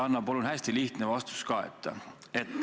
Anna palun hästi lihtne vastus ka.